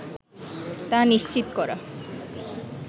তা নিশ্চিত করা